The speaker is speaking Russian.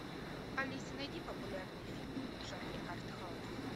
алиса найди популярные фильмы в жанре артхаус